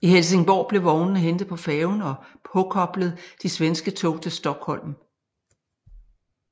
I Helsingborg blev vognene hentet på færgen og påkoblet de svenske tog til Stockholm